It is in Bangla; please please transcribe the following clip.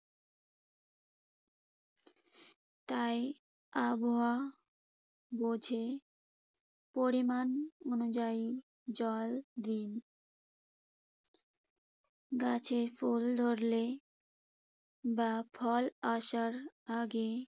তাই আবহাওয়া বুঝে পরিমাণ অনুযায়ী জল দিন। গাছের ফুল ধরলে বা ফল আসার আগেই